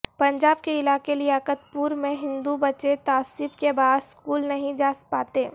پنجاب کے علاقے لیاقت پور میں ہندو بچے تعصب کے باعث سکول نہیں جا پاتے